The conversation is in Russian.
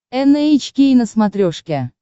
эн эйч кей на смотрешке